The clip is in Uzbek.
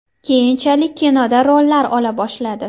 Keyinchalik kinoda rollar ola boshladi.